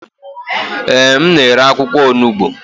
Ee, m na-ere akwụkwọ onugbo.